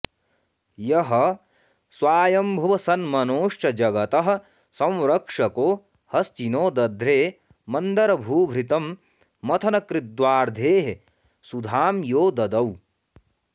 यः स्वायम्भुवसन्मनोश्च जगतः संरक्षको हस्तिनो दध्रे मंदरभूभृतं मथनकृद्वार्धेः सुधां यो ददौ